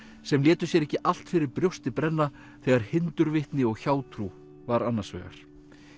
sem létu sér ekki allt fyrir brjósti brenna þegar hindurvitni og hjátrú var annars vegar